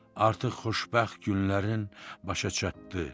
Artıq xoşbəxt günlərin başa çatdı.